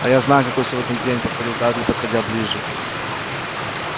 а я знаю какой сегодня день повторил дадли подходя ближе